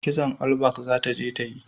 Kitson olbak za ta je yi